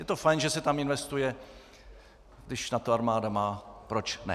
Je to fajn, že se tam investuje - když na to armáda má, proč ne?